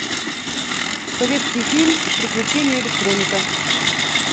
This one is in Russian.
советский фильм приключения электроника